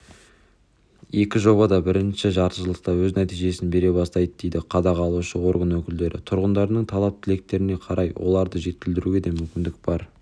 екі жоба да бірінші жартыжылдықта өз нәтижесін бере бастайды дейді қадағалаушы орган өкілдері тұрғындардың талап-тілектеріне қарай оларды жетілдіруге де мүмкіндік бар